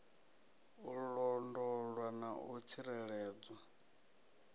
u londolwa na u tsireledzwa